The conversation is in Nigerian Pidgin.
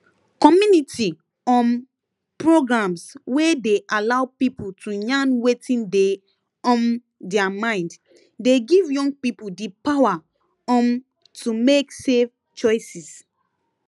community um programs wey dey allow people to yarn wetin dey um their mind dey give young people di power um to make safe choices